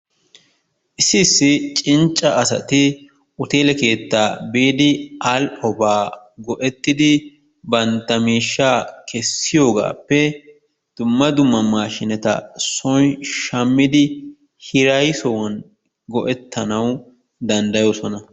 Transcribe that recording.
Issi issi cincce asati hotelee keettaa biidi al"obaa go"ettidi bantta miishshaa keessiyoogaappe dumma dumma maashiinetta soon shaammidi hirayssuwaan go"ettanawu danddayoosona.